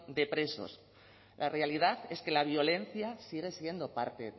de presos la realidad es que la violencia sigue siendo parte